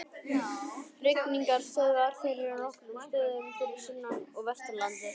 Hrygningarstöðvar þeirra eru á nokkrum stöðum fyrir sunnan og vestan landið.